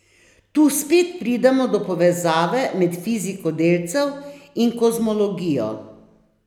Tu spet pridemo do povezave med fiziko delcev in kozmologijo.